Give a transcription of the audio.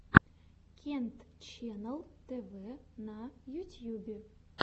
кент ченнал тв на ютьюбе